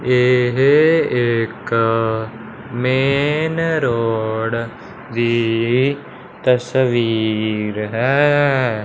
येहे एक main road की तस्वीर है।